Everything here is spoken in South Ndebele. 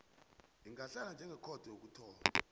ingahlala njengekhotho yokuthoma